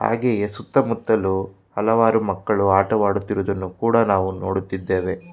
ಹಾಗೆಯೇ ಸುತ್ತಮುತ್ತಲು ಹಲವಾರು ಮಕ್ಕಳು ಆಟ ಆಡುತ್ತಿರುವುದನ್ನು ಕೂಡ ನಾವು ನೋಡುತ್ತಿದ್ದೇವೆ.